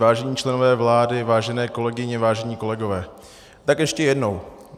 Vážení členové vlády, vážené kolegyně, vážení kolegové, tak ještě jednou.